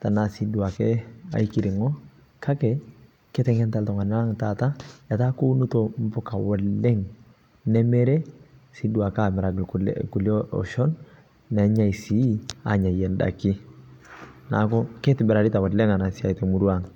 tanaa sii duake nghai kiringo kakee ketengenitaa ltungana lang taata etaa kounutoo mpukaa oleng nemiri sii duake amiraki lkulie oshon nenyai sii anyayie ndanii naaku keitibirarita ana siai oleng te murua aang.